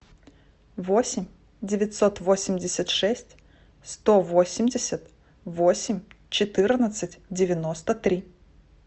восемь девятьсот восемьдесят шесть сто восемьдесят восемь четырнадцать девяносто три